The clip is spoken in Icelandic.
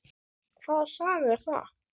Hvaða saga er það?